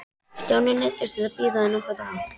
Stjáni neyddist því til að bíða í nokkra daga.